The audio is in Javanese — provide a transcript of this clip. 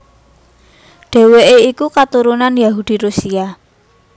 Dhèwèké iku katurunan Yahudi Rusia